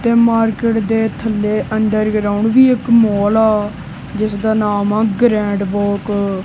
ਤੇ ਮਾਰਕੀਟ ਦੇ ਥੱਲੇ ਅੰਦਰ ਆਉਣ ਦੀ ਇੱਕ ਮੋਲ ਜਿਸਦਾ ਨਾਮ ਆ ਗਰੈਂਡ ਵਰਕ।